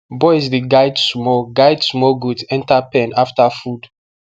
boys dey guide small guide small goat enter pen after food